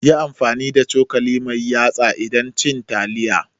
Yi amfani da cokali mai yatsa idan cin taliya.